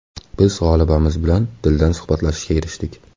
Biz g‘olibamiz bilan dildan suhbatlashishga erishdik.